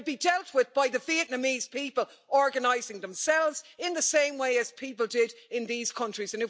They'll be dealt with by the Vietnamese people organising themselves in the same way as people did in these countries.